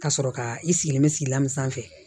Ka sɔrɔ ka i sigilen bɛ sigila min sanfɛ